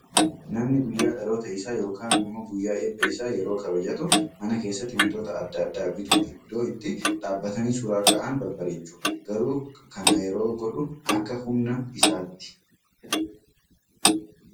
Namni guyyaa dhaloota isaa yookaan immoo guyyaa eebba isaa yeroo kabajatu, mana keessatti wantoota adda addaa bituun iddoo itti dhaabbatanii suura ka'an babbareechu. Garuu kana yeroo godhu akka humna isaatti.